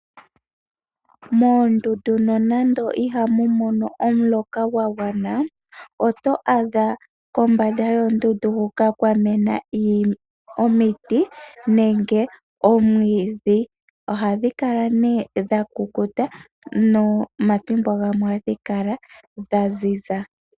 Moondundu nonando ihamu mono omuloka gwagwana, oto adha kombanda yoondundu huka kwamena omiti nenge omwiidhi. Ohadhi kala ne dha kukuta nomathimbo gamwe ohadhi kala dha ziza.